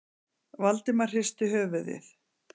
Valdimar hristi höfuðið.